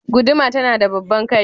Guduma tana da babban kai.